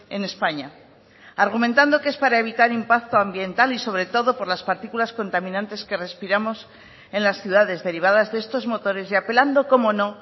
en españa argumentando que es para evitar impacto ambiental y sobre todo por las partículas contaminantes que respiramos en las ciudades derivadas de estos motores y apelando como no